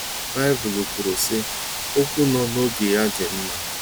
Baịbụl kwuru, sị: “Okwu no n'oge ya dị mma.